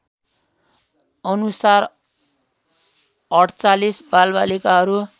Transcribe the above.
अनुसार ४८ बालबालिकाहरू